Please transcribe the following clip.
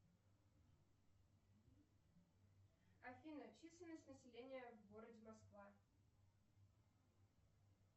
афина численность населения в городе москва